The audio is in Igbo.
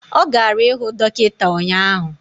Ọ gara ịhụ dọkịta ụnyaahụ